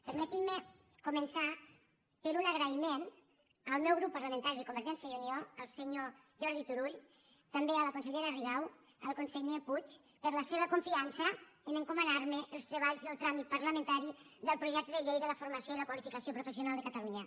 permetin me començar per un agraïment al meu grup parlamentari de convergència i unió al senyor jordi turull també a la consellera rigau al conseller puig per la seva confiança en encomanar me els treballs del tràmit parlamentari del projecte de llei de la formació i la qualificació professional de catalunya